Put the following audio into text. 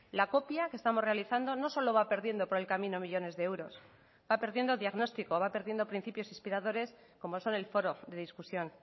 la copia que estamos realizando no solo va perdiendo por el camino millónes de euros va perdiendo diagnóstico va perdiendo principios inspiradores como son el foro de discusión